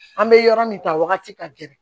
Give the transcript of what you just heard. An bɛ yɔrɔ min ta wagati ka gɛlɛn